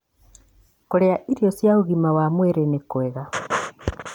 Kũrĩa irio cia ũgima wa mwĩrĩ nĩ kwega.